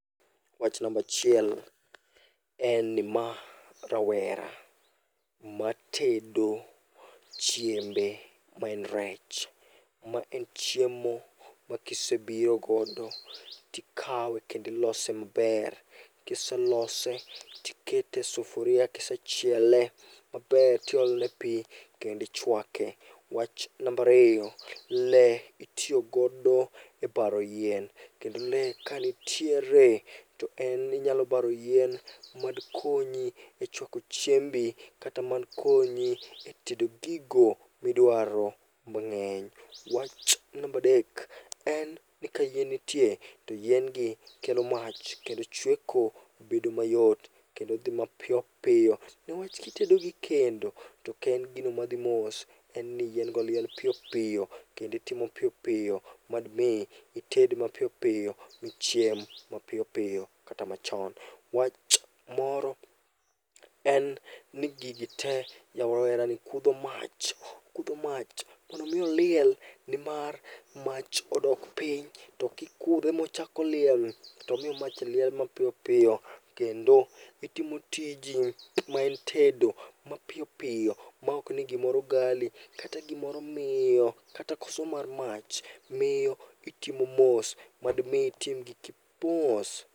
Wach nambachiel en ni ma rawera matedo chiembe maen rech. Ma en chiemo ma kisebiro godo tikawe kendilose maber. Kiselose tikete e sufuria kisechiele maber tiole pi kendi chwake. Wach nambariyo, le itiyogodo e baro yien. Kendo le kanitiere to en inyalo baro yien madkonyi e chwako chiembi kata madkonyi e tedo gigo midwaro mang'eny. Wach nambadek, en ni ka yien nitie to yien gi kelo mach kendo chweko bedo mayot kendo dhi mapiyopiyo. Newach kitedo gi kendo, token gino madhi mos, en ni yien go liel piyo piyo kendi timo piyo piyo. Madmi ited mapiyo piyo, michiem mapiyo piyo kata machon. Wach moro en ni gigi te ja rawera ni kudho mach, okudho mach mondo mi oliel. Nimar mach odok piny, to kikudho mochako liel tomiyo mach liel mapiyo piyo. Kendo itimo tiji maen tedo mapiyo piyo maok ni gimoro gali, kata gimoro miyo kata koso mar mach miyo itimo mos madmi itim giki gi mos.